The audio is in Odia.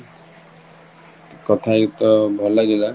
କାଠ ଅହେଇକି ଭଲ ଲାଗିଲା